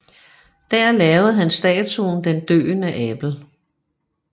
Der lavede han statuen Den døende Abel